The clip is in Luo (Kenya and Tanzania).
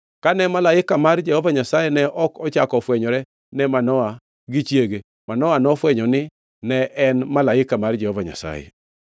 Kane malaika mar Jehova Nyasaye ne ok ochako ofwenyore ne Manoa gi chiege, Manoa nofwenyo ni ne en malaika mar Jehova Nyasaye.